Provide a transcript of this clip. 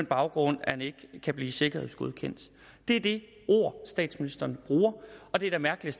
baggrund at han ikke kan blive sikkerhedsgodkendt det er det ord statsministeren bruger og det er da mærkeligt